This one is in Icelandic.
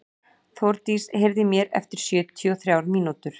Þórdís, heyrðu í mér eftir sjötíu og þrjár mínútur.